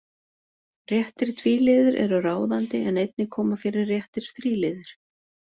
Réttir tvíliðir eru ráðandi en einnig koma fyrir réttir þríliðir.